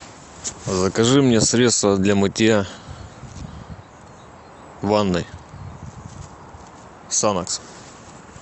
закажи мне средства для мытья ванной санокс